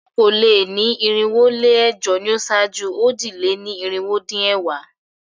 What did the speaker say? Okòó-lé-ní-irinwó-lé-ẹ̀jọ ni ó ṣáájú òjì-lé-ní-irinwó-dín-ẹ̀wá.